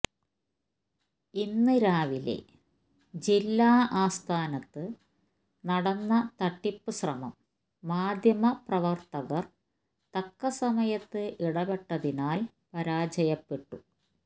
ഇന്ന് രാവിലെ ജില്ലാ ആസ്ഥാനത്ത് നടന്ന തട്ടിപ്പ് ശ്രമം മാധ്യമപ്രവർത്തകർ തക്ക സമയത്ത് ഇടപെട്ടതിനാൽ പരാജയപ്പെട്ടു